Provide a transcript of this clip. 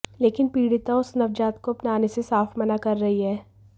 लेकिन पीड़िता उस नवजात को अपनाने से साफ मना कर रही है